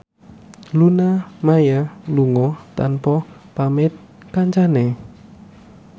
Luna Maya lunga tanpa pamit kancane